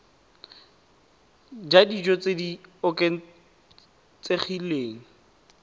ja dijo tse di oketsegileng